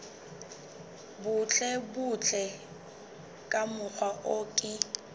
butlebutle ka mokgwa o ke